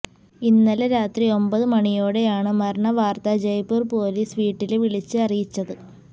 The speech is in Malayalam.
ഇന്നലെ രാത്രി ഒമ്പത് മണിയോടെയാണ് മരണവാര്ത്ത ജയ്പൂര് പോലീസ് വീട്ടില് വിളിച്ച് അറിയിച്ചത്